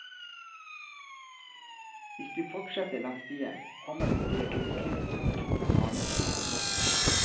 Hvis du fortsetter langs stien kommer du til et lite kryss med to smale veier.